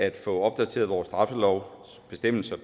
at få opdateret vores straffelovs bestemmelser